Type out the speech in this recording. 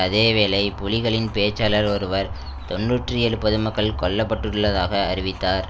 அதே வேளை புலிகளின் பேச்சாளர் ஒருவர் தொன்னூற்றி ஏழு பொதுமக்கள் கொல்ல பட்டுள்ளதாக அறிவித்தார்